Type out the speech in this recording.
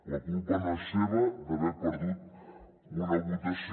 la culpa no és seva d’haver perdut una votació